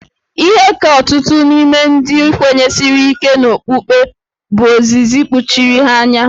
Ihe ka ọtụtụ n'ime ndị kwenyesiri ike n'okpukpe bụ ozizi kpuchiri ha anya.